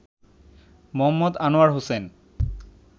Md. Anwar Hossain